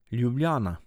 Ljubljana.